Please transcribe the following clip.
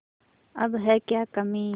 अब है क्या कमीं